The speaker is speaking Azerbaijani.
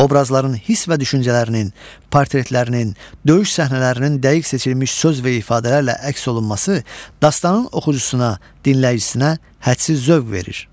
Obrazların hiss və düşüncələrinin, portretlərinin, döyüş səhnələrinin dəqiq seçilmiş söz və ifadələrlə əks olunması dastanın oxucusuna, dinləyicisinə hədsiz zövq verir.